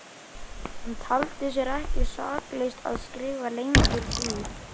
Hann taldi sér ekki saklaust að skrifa lengur því